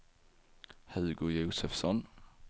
Hugo Josefsson